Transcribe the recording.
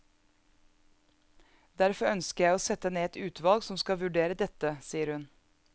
Derfor ønsker jeg å sette ned et utvalg som skal vurdere dette, sier hun.